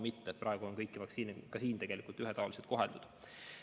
Praegu on kõiki vaktsiine ühetaoliselt koheldud.